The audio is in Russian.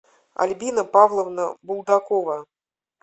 альбина павловна булдакова